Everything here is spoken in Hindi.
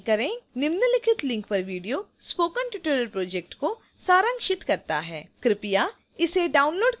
निम्नलिखित link पर video spoken tutorial project का सारांशित करता है